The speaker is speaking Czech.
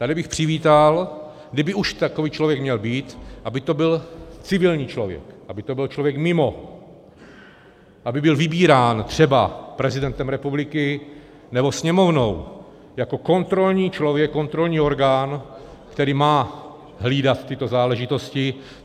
Tady bych přivítal, kdyby už takový člověk měl být, aby to byl civilní člověk, aby to byl člověk mimo, aby byl vybírán třeba prezidentem republiky nebo Sněmovnou jako kontrolní člověk, kontrolní orgán, který má hlídat tyto záležitosti.